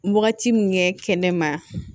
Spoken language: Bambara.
Wagati min kɛ ne ma